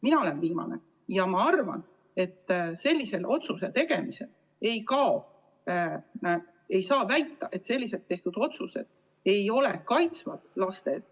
Mina olen viimane ja ma arvan, et sellisel viisil otsuste tegemise korral ei saa väita, et sel viisil tehtud otsused ei kaitse lapsi.